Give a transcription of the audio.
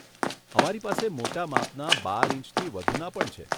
અમારી પાસે મોટા માપના બાર ઈંચથી વધુના પણ છે.